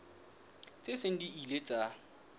tse seng di ile tsa